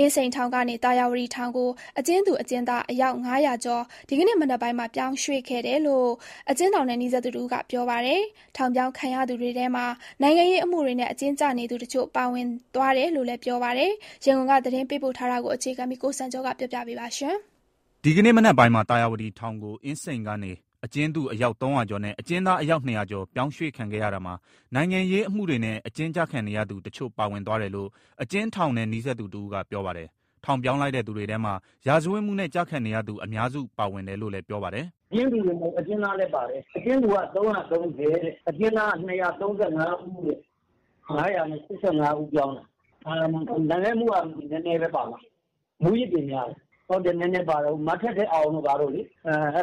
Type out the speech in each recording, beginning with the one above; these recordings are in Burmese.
အင်းစိန်ထောင်ကနေ သာယာဝတီထောင်ကို အကျဉ်းသူ/အကျဉ်းသား အယောက် ၅၀၀ကျော် ဒီကနေ့မနက်ပိုင်းမှာပြောင်းရွှေ့ခဲ့တယ်လို့ အကျဉ်းထောင်နဲ့နီးစပ်သူတဦးကပြောပါတယ်။ ထောင်ပြောင်းခံရသူတွေထဲမှာ နိုင်ငံရေးအမှုတွေနဲ့ အကျဉ်းကျနေသူ အချို့ပါဝင်သွားတယ်လို့လည်း ပြောပါတယ်။ ရန်ကုန်ကသတင်းပေးပို့ထားတာကို အခြေခံပြီး ကိုစံကျော် ကပြောပြမှာပါ။ ဒီကနေ့မနက်ပိုင်းမှာ သာယာဝတီထောင်ကို အင်းစိန်ကနေ အကျဉ်းသူ အယောက် ၃၀၀ကျော်နဲ့ အကျဉ်းသား အယောက် ၂၀၀ကျော် ပြောင်းရွှေ့ခံခဲ့ရတာမှာ နိုင်ငံရေးအမှုတွေနဲ့ အကျဉ်းကျခံနေရသူ တချို့ပါဝင်သွားတယ်လို့ အကျဉ်းထောင်နဲ့နီးစပ်သူတဦးကပြောပါတယ်။ ထောင်ပြောင်းလိုက်တဲ့ သူတွေထဲမှာရာဇဝတ်မှုနဲ့ ကျခံနေသူ အများစု ပါဝင်တယ်လို့လည်း ပြောပါတယ်။ "အကျဉ်းသူတင်မဟုတ်ဘူး အကျဉ်းသားလည်းပါတယ်။ အကျဉ်းသူက ၃၃၀၊ အကျဉ်းသားက ၂၃၅ ဦး ၅၈၅ ဦးပြောင်းတယ်။ နိုင်ငံရေးအမှုက နည်းနည်းဘဲပါမယ်။ မူးယစ်တွေများတယ်။ မထက်ထက်အောင်တို့ပါသွားတယ်။ အဲ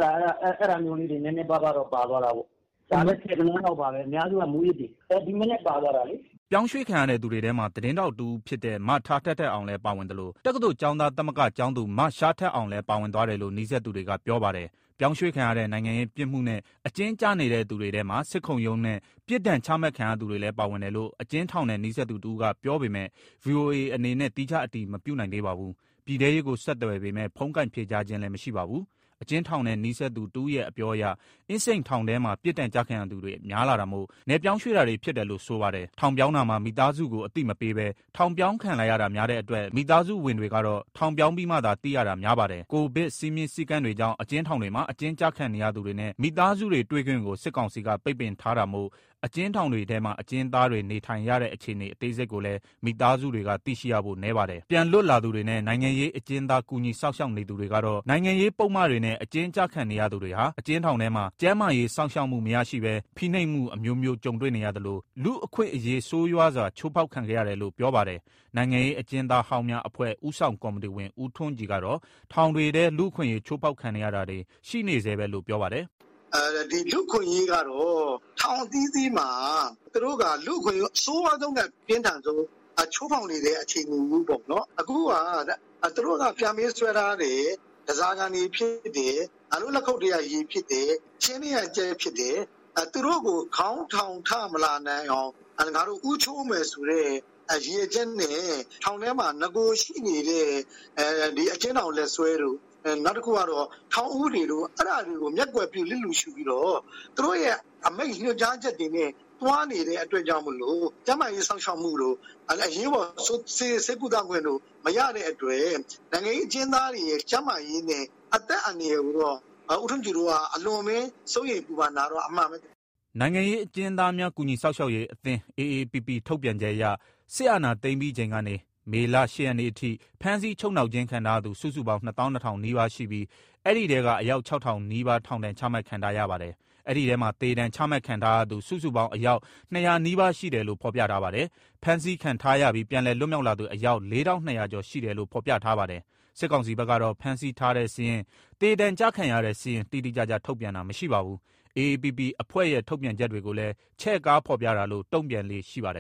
လိုနည်းနည်းတော့ပါသွားတယ်။ ပါလည်း ၁၀ဂဏန်းလောက် ပါဘဲ အများစုကမူးယစ်တွေ။ ဒီမနက်ပါသွားတာပေါ့။" ပြောင်းရွှေ့ခံရတဲ့သူတွေထဲမှာ သတင်းထောက်တဦးဖြစ်တဲ့ မထက်ထက်အောင်လည်းပါဝင်သလို တက္ကသိုလ်ကျောင်းသားသမဂ္ဂ ကျောင်းသူ မသျှားထက်အောင်လည်းပါဝင်သွားတယ်လို့ နီးစပ်သူတွေက ပြောပါတယ်။ ပြောင်းရွှေ့ခံရတဲ့ နိုင်ငံရေး ပြစ်မှုနဲ့ အကျဉ်းကျနေတဲ့သူတွေထဲမှာ စစ်ခုံးရုံးနဲ့ ပြစ်ဒဏ် ချမှတ်ခံရသူ တွေလည်း ပါဝင်တယ်လို့ အကျဉ်းထောင်နဲ့နီးစပ်သူတဦးကပြောပေမယ့် ဗွီအိုအေ အနေနဲ့သီးခြားအတည်မပြုနိုင်သေးပါဘူး။ ပြည်ထဲရေးကို ဆက်သွယ်ပေမဲ့ ဖုန်းကိုင်ဖြေကြားခြင်း မရှိပါဘူး။ အကျဉ်းထောင်နဲ့နီးစပ်သူတဦးရဲ့အပြောအရ အင်းစိန်ထောင်ထဲမှာ ပြစ်ဒဏ်ကျခံရသူတွေများလာတာမို့နယ်ပြောင်းရွှေ့တာတွေဖြစ်တယ်လို့ ဆိုပါတယ်။ ထောင်ပြောင်းတာမှာ မိသားစုကို အသိမပေးဘဲ ထောင်ပြောင်းခံလိုက်ရတာများတဲ့အတွက် မိသားစုဝင် တွေကတော့ ထောင်ပြောင်းပြီးမှသာသိရတာများပါတယ်။ ကိုဗစ်စည်းမျဉ်းစည်းကမ်းတွေကြောင့် အကျဉ်းထောင်တွေမှာ အကျဉ်းကျခံနေရသူတွေနဲ့မိသားစုတွေ တွေ့ခွင့်ကိုစစ်ကောင်စီက ပိတ်ပင်ထား တာမို့ အကျဉ်းထောင်တွေထဲမှာ အကျဉ်းသားတွေ နေထိုင်ရတဲ့ အခြေအနေအသေးစိတ်ကိုလည်း မိသားစုတွေကသိရှိရဖို့နည်းပါတယ်။ ပြန်လွတ်လာသူတွေနဲ့ နိုင်ငံရေးအကျဉ်းသားတွေကူညီစောင့်ရှောက်နေသူတွေကတော့ နိုင်ငံရေးပုဒ်မ တွေနဲ့ အကျဉ်းကျခံနေရသူတွေဟာ အကျဉ်းထောင်ထဲမှာကျန်းမာရေးစောင့်ရှောက်မှုမရရှိဘဲ ဖိနှိပ်မှု အမျိုးမျိုး ကြုံတွေ့နေရသလို လူ့အခွင့်အရေးဆိုးရွားစွာ ချိုးဖောက်ခံခဲ့ရတယ်လို့ ပြောပါတယ်။ နိုင်ငံရေးအကျဉ်းသားဟောင်းများအဖွဲ့ ဦးဆောင်ကော်မတီဝင် ဦးထွန်းကြည်ကတော့ ထောင်တွေထဲ လူ့အခွင့်အရေးချိုးဖောက်ခံနေရတာတွေ ရှိနေဆဲပဲလို့ ပြောပါ တယ်။ "လူ့အခွင့်အရေးကတော့ ထောင်အသီးသီးမှာ သူတို့ကလူ့အခွင့်အရေးကို အဆိုးရွားဆုံးနဲ့အပြင်းထန်ဆုံး ချိုးဖောက်နေတဲ့အခြေအနေမျိုးပေါ့ အခုက သူတို့ကပြန်ပေးဆွဲထား တယ်။ တန်ဆာခံတွေဖြစ်တယ် ငါတို့လက်ခုပ်ထဲကရေဖြစ်တယ်ဆိုပြီး သူတို့ကိုခေါင်းထောင်ထမလာ နိုင်အောင် ဦးချိုးမယ်ရည်ရွယ်ချက်နဲ့ ထောင်ထဲမှာရှိတဲ့ ထောင်လက်စွဲဥပဒေ၊ ထောင် ဥပဒေ တို့ကိုမျက်ကွယ်ပြုပြီးသူ တို့အမိန့်ညွှန်ကြားချက်တွေနဲ့သွားနေတယ်။ ကျန်းမာရေးစောင့်ရှောက်မှုတို့ အရေးပေါ်ဆေးကုသခွင့်တို့ မရတဲ့အတွက် နိင်ငံရေးအကျဉ်းသားတွေရဲ့ အသက်အန္တရာယ်နဲ့ ကျန်းမာရေးဟာအထူးစိုးရိမ်စရာဖြစ်နေတယ်။" နိုင်ငံရေးအကျဉ်းသားများ ကူညီစောင့်ရှောက်ရေးအသင်း အေအေပီပီ ထုတ်ပြန်ချက်အရ စစ်အာဏာ သိမ်းပြီးချိန်ကနေ့ မေလ ၈ ရက်နေ့အထိ ဖမ်းဆီးချုပ်နှောင်ခြင်းခံထားရသူ စုစုပေါင်း ၂၂၀၀၀ နီးပါးရှိပြီး၊ အဲဒီထဲက အယောက် ၆၀၀၀ နီးပါး ထောင်ဒဏ် ချမှတ်ခံထားရပါတယ်။ ဒီထဲမှာ သေဒဏ်ချမှတ်ခံထားရသူ စုစုပေါင်း အယောက် ၂၀၀ နီးပါးရှိတယ်လို့ ဖော်ပြထားပါတယ်။ ဖမ်းဆီးခံ ထားရပြီး ပြန်လည်လွတ်မြောက်လာသူ အယောက် ၄၂၀၀ကျော်ရှိတယ်လို့ ဖော်ပြထားပါတယ်။ စစ်ကောင်စီ ဘက် ကတော့ ဖမ်းဆီးထား တဲ့စာရင်း၊ သေဒဏ်ကျခံရတဲ့စာရင်း တိတိကျကျ ထုတ်ပြန်တာ မရှိပါဘူး။ အေအေပီပီအဖွဲ့ရဲ့ ထုတ်ပြန်ချက်တွေကိုလည်း ချဲ့ကားဖော်ပြတာလို့ တုံ့ပြန်လေ့ ရှိပါတယ်